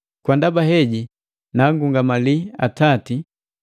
Kwa ndaba heji, naagungamali Atati,